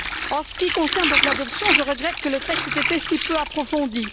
En ce qui concerne l'adoption, je regrette que le texte ait été si peu approfondi.